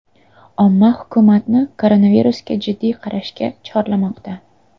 Omma hukumatni koronavirusga jiddiy qarashga chorlamoqda.